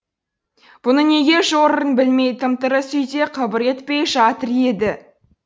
бұны неге жорырын білмей тым тырыс үйде қыбыр етпей жатыр еді